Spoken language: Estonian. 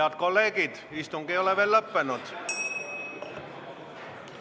Head kolleegid, istung ei ole veel lõppenud.